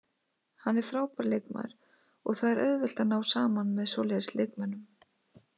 Hann er frábær leikmaður og það er auðvelt að ná saman með svoleiðis leikmönnum.